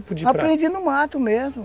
Aprendi no mato mesmo.